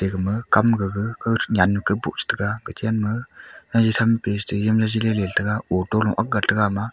gama kam gaga auto nu angk gat te a.